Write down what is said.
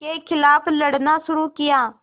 के ख़िलाफ़ लड़ना शुरू किया